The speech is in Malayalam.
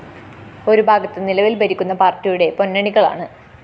ഒരു ഭാഗത്ത് നിലവില്‍ ഭരിക്കുന്ന പാര്‍ട്ടിയുടെ പൊന്നണികളാണ്